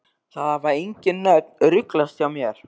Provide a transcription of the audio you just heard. Það hafa engin nöfn ruglast hjá mér.